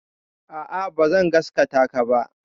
A'a, bazan gasgataka ba.